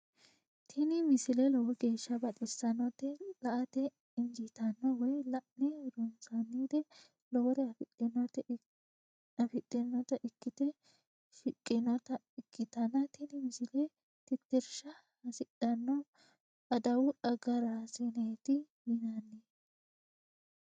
tini misile lowo geeshsha baxissannote la"ate injiitanno woy la'ne ronsannire lowore afidhinota ikkite shiqqinota ikkitanna tini misilera tittirsha hasidhanno adawu agaraasineeti yinanni.